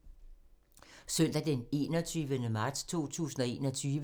Søndag d. 21. marts 2021